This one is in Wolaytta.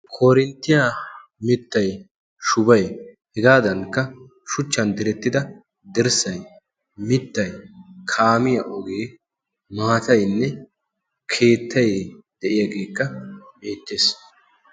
korinttiyaa mittay shubay hegaadankka shuchchan direttida dirssay mittay kaamiya ogee maatainne keettai de'iyaageekka meettees